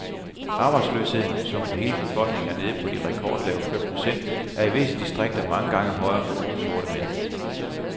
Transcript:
Arbejdsløsheden, som for hele befolkningen er nede på de rekordlave fem procent, er i visse distrikter mange gange højere for unge sorte mænd.